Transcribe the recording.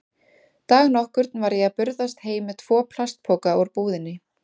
Dag nokkurn var ég að burðast heim með tvo plastpoka úr búðinni.